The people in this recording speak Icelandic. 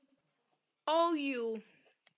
Ó, jú.